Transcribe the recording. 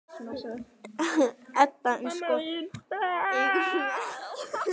Edda: En, sko, eigum við að segja þessu lokið hérna?